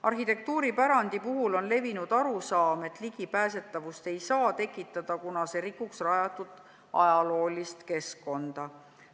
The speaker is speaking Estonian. Arhitektuuripärandi puhul on levinud arusaam, et ligipääsetavust ei saa tekitada, kuna see rikuks ajaloolist keskkonda.